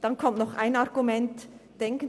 Denken Sie auch noch an Folgendes: